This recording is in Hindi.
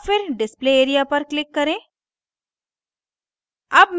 और फिर display area पर click करें